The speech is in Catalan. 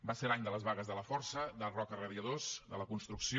va ser l’any de les vagues de laforsa de roca radiadors de la construcció